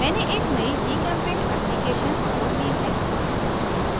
मैंने एक नयी gchempaint application खोल ली है